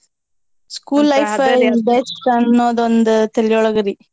Best ಅನ್ನೋದ್ ಒಂದ ತಲಿಯೊಳಗ್ರೀ.